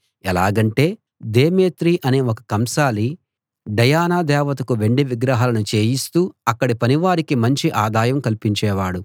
ఎలాగంటే దేమేత్రి అనే ఒక కంసాలి డయానా దేవతకు వెండి విగ్రహాలను చేయిస్తూ అక్కడి పనివారికి మంచి ఆదాయం కల్పించేవాడు